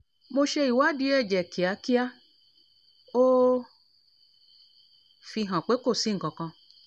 mo ṣe ìwádìí ẹ̀jẹ̀ kíákia ó fi hàn pé kó sì nkankan